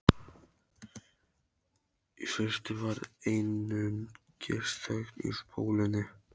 Í fyrstu var einungis þögn á spólunni.